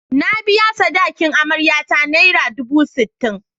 Na biya sadakin amaryata naira dubu sittin.